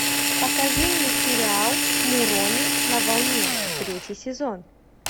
покажи мне сериал муроми на волне третий сезон